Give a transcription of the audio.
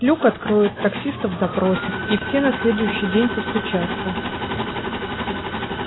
люк откроют таксистов допросят и все на следующий день постучатся